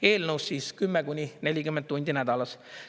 Eelnõus siis 10–40 tundi nädalas.